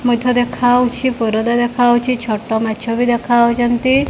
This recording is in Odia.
ମଧ୍ୟ ଦେଖା ଯାଉଛି ପରଦା ଦେଖାଯାଉଛି ଛୋଟ ମାଛ ବି ଦେଖା ଯାଉଛନ୍ତି।